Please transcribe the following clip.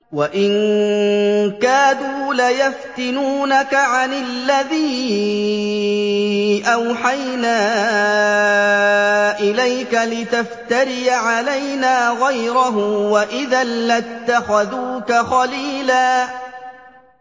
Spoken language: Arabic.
وَإِن كَادُوا لَيَفْتِنُونَكَ عَنِ الَّذِي أَوْحَيْنَا إِلَيْكَ لِتَفْتَرِيَ عَلَيْنَا غَيْرَهُ ۖ وَإِذًا لَّاتَّخَذُوكَ خَلِيلًا